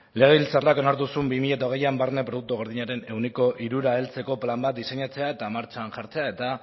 legebiltzarrak onartu zuen bi mila hogeian barne produktu gordinaren ehuneko hirura heltzeko plan bat diseinatzea eta martxan jartzea eta